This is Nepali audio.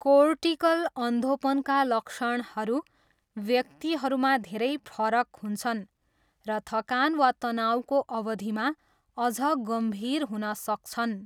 कोर्टिकल अन्धोपनका लक्षणहरू व्यक्तिहरूमा धेरै फरक हुन्छन् र थकान वा तनाउको अवधिमा अझ गम्भीर हुन सक्छन्।